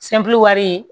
wari ye